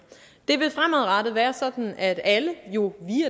det vil fremadrettet være sådan at alle jo